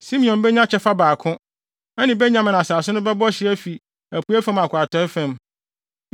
Simeon benya kyɛfa baako, ɛne Benyamin asase no bɛbɔ hye afi apuei fam akɔ atɔe fam.